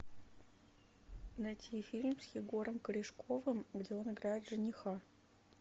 найти фильм с егором корешковым где он играет жениха